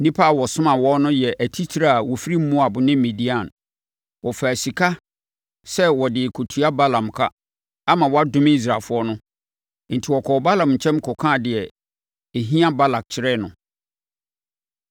Nnipa a ɔsomaa wɔn no yɛ atitire a wɔfiri Moab ne Midian. Wɔfaa sika sɛ wɔde rekɔtua Balaam ka ama wadome Israelfoɔ. Enti wɔkɔɔ Balaam nkyɛn kɔkaa deɛ ɛhia Balak kyerɛɛ no.